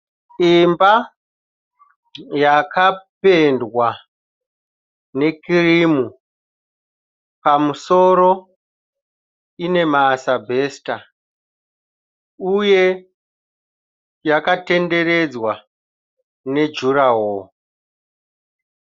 Imba yakapendwa nekirimu pamusoro ine masabhesita uye yakatenderedzwa nejuraho.